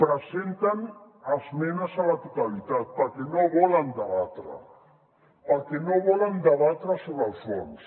presenten esmenes a la totalitat perquè no volen debatre perquè no volen debatre sobre el fons